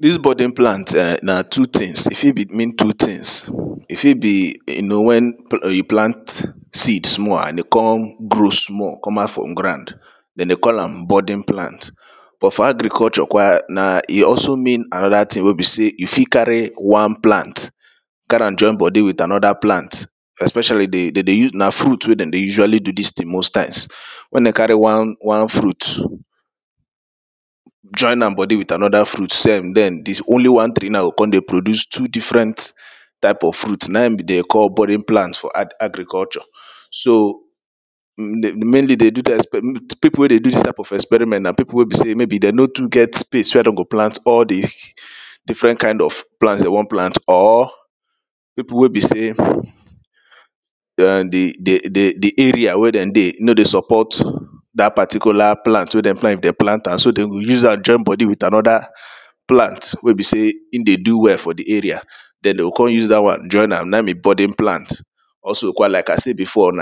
Dis budding plant um na two things, e fit be mean two things, e fit be you know wen you plant seed small and e come grow small come out from ground dem dey call am budding plant, but for agriculture kwa na e also mean anoda thing wey be sey you fit carry one plant carry am join body with anoda plant especially de dem dey use na fruit wey dem dey usually do these things most times. Wen dem carry one one fruit join am body with another fruit, send then only one tree now go come dey produce two different type of fruit na im dem dey call budding plant for agriculture. So pipo wey dey do dis type of experiment na people wey be sey maybe dem no too get space wey dem go plant all di different kind of plant dem wan plant or pipo wey be sey um di di area wey dem dey no dey support dat particular plant if dem plant am, so dem go use am join body with anoda plant wey be sey e dey do well for di area then dem go come use dat one join am na be budding plant also kwa like I sey before,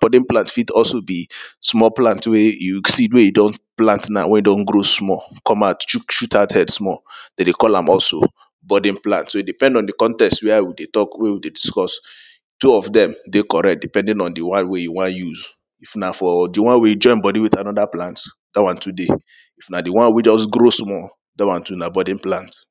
budding plant fit also be small plant wey you see wey e don plant now wey e don grow small come out shoo shoot out head small, dem dey call am also budding plant so e depend on di context where we dey talk wey we dey discuss two of dem dey correct depending on di one wey you wan use if na for di one wey join body with anoda plant, dat one too dey if na di one wey e just grow small dat one too na budding plant.